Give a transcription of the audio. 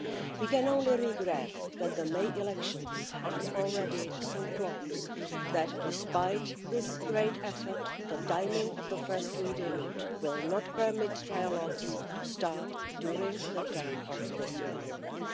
We can only regret that the May elections are already so close, that despite this great effort, the timing of the first reading will not permit trilogues to start during the term of this Parliament.